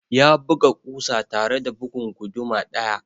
Ya buga ƙusa tare da bugun guduma ɗaya.